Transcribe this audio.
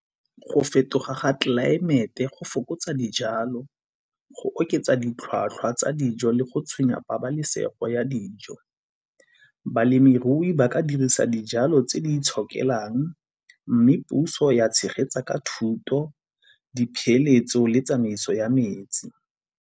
Go fetoga ga tlelaemete go fokotsa dijalo, go oketsa ditlhwatlhwa tsa dijo le go tshwenya pabalesego ya dijo. Balemirui ba ka dirisa dijalo tse di itshokelang mme puso ya tshegetsa ka thuto, dipeeletso le tsamaiso ya metsi.